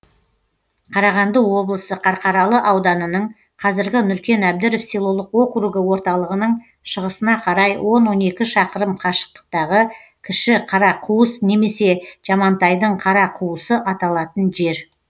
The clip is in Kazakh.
қарағанды облысы қарқаралы ауданының қазіргі нұркен әбдіров селолық округі орталығының шығысына қарай он он екі шақырым қашықтықтағы кіші қарақуыс немесе жамантайдың қарақуысы аталатын жер